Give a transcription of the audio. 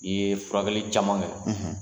I ye furakɛli caman kɛ